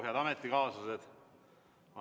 Head ametikaaslased!